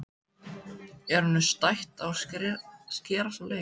Er honum stætt á að skerast úr leik?